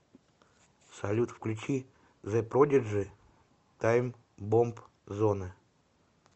салют включи зе продиджи таймбомб зоне